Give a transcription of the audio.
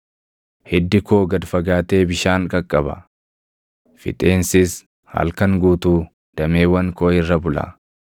Hiddi koo gad fagaatee bishaan qaqqaba; fixeensis halkan guutuu dameewwan koo irra bula.